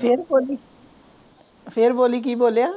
ਫਿਰ ਬੋਲੀ ਫਿਰ ਬੋਲੀ ਕਿ ਬੋਲਿਆ